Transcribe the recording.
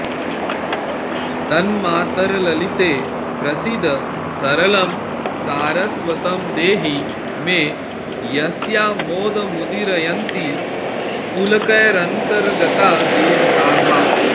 तन्मातर्ललिते प्रसीद सरलं सारस्वतं देहि मे यस्यामोदमुदीरयन्ति पुलकैरन्तर्गता देवताः